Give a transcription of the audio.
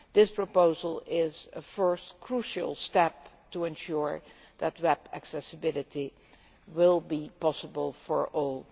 This proposal is a first crucial step to ensure that web accessibility will be possible for all.